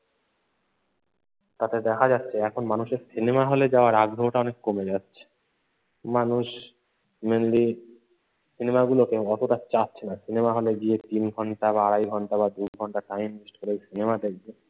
তাতে দেখা যাচ্ছে এখন মানুষের সিনেমা হলে যাওয়ার আগ্রহটা অনেক কমে যাচ্ছে। মানুষ mainly সিনেমাগুলোকে অতটা চাচ্ছে না, সিনেমা হলে গিয়ে তিন ঘণ্টা বা আড়াই ঘণ্টা বা দু ঘণ্টা time west করে সিনেমা দেখবে।